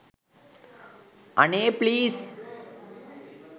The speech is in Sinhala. අනේ ප්ලීස්